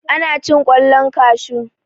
ana cin kwallon kashu